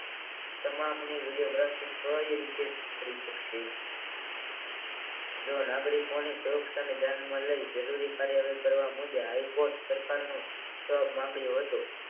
તમામની વિડીયોગ્રાફી તોય કોઈ રીતે કરી શકશે જોવા નાગરીકોની સુરક્ષાને ધ્યાનમાં લઈ જરૂરી કાર્યવાહી કરવા મોદી હાઇકોર્ટ સરકારે માંગ હોય તો